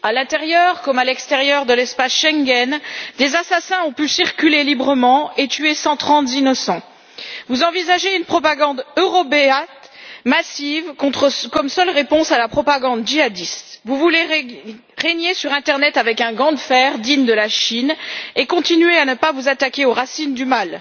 À l'intérieur comme à l'extérieur de l'espace Schengen, des assassins ont pu circuler librement et tuer 130 innocents. Vous envisagez une propagande eurobéate massive comme seule réponse à la propagande djihadiste. Vous voulez régner sur internet avec un gant de fer digne de la Chine et continuer à ne pas vous attaquer aux racines du